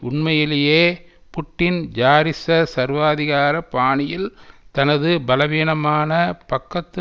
உண்மையிலேயே புட்டின் ஜாரிச சர்வாதிகார பாணியில் தனது பலவீனமான பக்கத்து